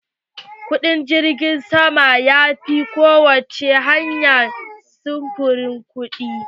Kuɗin jirgim sama ya fi ko wacce hanyar sufuri kuɗi.